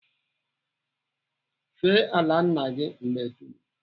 Fee ala nna gị mgbe dum!